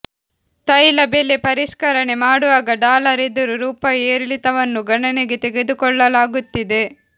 ತೈಲ ಬೆಲೆ ಪರಿಷ್ಕರಣೆ ಮಾಡುವಾಗ ಡಾಲರ್ ಎದುರು ರೂಪಾಯಿ ಏರಿಳಿತವನ್ನೂ ಗಣನೆಗೆ ತೆಗೆದುಕೊಳ್ಳಲಾಗುತ್ತಿದೆ